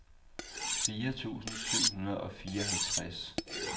fire tusind syv hundrede og fireoghalvtreds